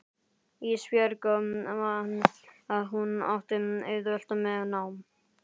Ísbjörg man að hún átti auðvelt með nám.